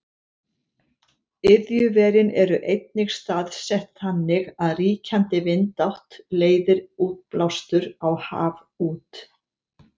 Iðjuverin eru einnig staðsett þannig að ríkjandi vindátt leiðir útblástur á haf út.